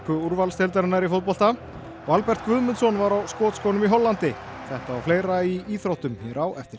úrvalsdeildarinnar í fótbolta og Albert Guðmundsson var á skotskónum í Hollandi þetta og fleira í íþróttum hér á eftir